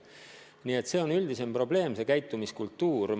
Nii et see on üldisem käitumiskultuuri probleem.